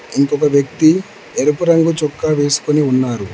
ఇంకొక వ్యక్తి ఎరుపు రంగు చొక్కా వేసుకొని ఉన్నారు.